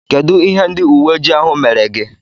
Kedụ ihe ndị uweojii ahụ mere gị?